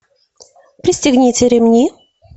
пристегните ремни